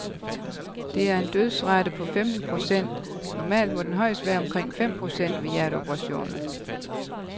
Det er en dødsrate på femten procent, normalt må den højst være omkring fem procent ved hjerteoperationer.